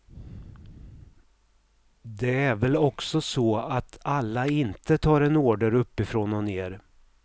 Det är väl också så att alla inte tar en order uppifrån och ner.